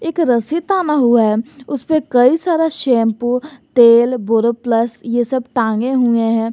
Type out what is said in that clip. एक रस्सी ताना हुआ है उस पे कई सारा शैंपू तेल बोरोप्लस ये सब टांगे हुए हैं।